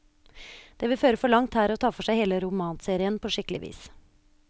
Det vil føre for langt her å ta for seg hele romanserien på skikkelig vis.